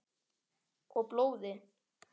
Og blóði.